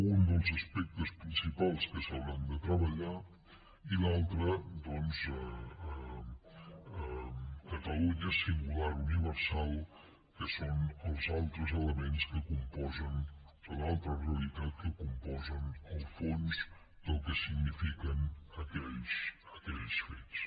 un dels aspectes principals que s’hauran de treballar i l’altre doncs catalunya singular universal que són els altres elements que componen l’altra realitat que componen el fons del que signifiquen aquells fets